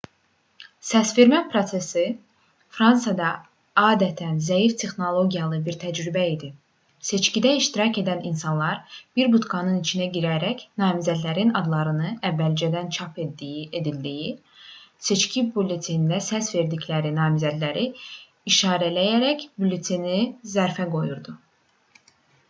səsvermə prosesi fransada adətən zəif texnologiyalı bir təcrübə idi seçkidə iştirak edən insanlar bir budkanın içinə girərək namizədlərin adlarının əvvəldən çap edildiyi seçki bülletenində səs verdikləri namizədi işarələyərək bülleteni zərfə qoyurdu